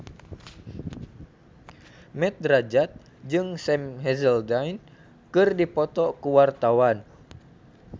Mat Drajat jeung Sam Hazeldine keur dipoto ku wartawan